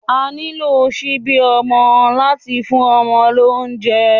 À nilo ṣibi ọmọ lati fun ọmọ lounjẹ